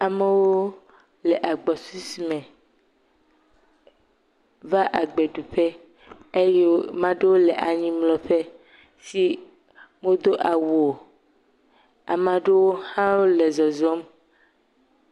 Amewo le agbɔsusu me va agbeɖuƒe eye mea ɖewo le anyimlɔƒe si medo awu o, ame ɖe hã wole zɔzɔm.